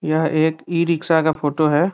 यह एक ई-रिक्शा का फोटो है।